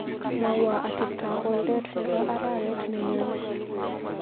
Mwawa ateptap boldet nebo arawet nenyoni.